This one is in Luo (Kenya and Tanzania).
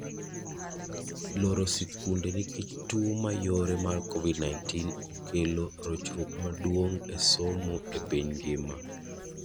Loro sikunde nikech tuo mayore mar COVID-19 okelo rochruok maduong' esomo epiny ngima.